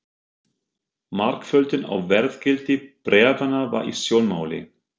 Margföldun á verðgildi bréfanna var í sjónmáli.